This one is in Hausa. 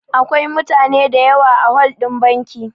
Akwai mutane da yawa a hol ɗin banki